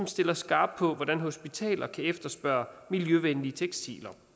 stilles skarpt på hvordan hospitaler kan efterspørge miljøvenlige tekstiler